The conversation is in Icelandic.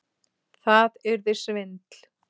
Það yrði svindl.